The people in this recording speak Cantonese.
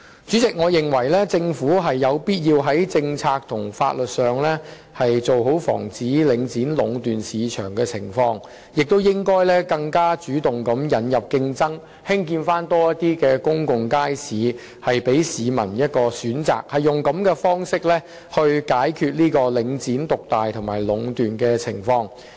主席，我認為政府有必要在政策和法律上妥善防止領展壟斷市場，亦應該更主動地引入競爭，興建更多公眾街市，讓市民有所選擇，以這種方式解決領展獨大和壟斷的情況。